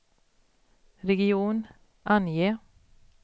region, ange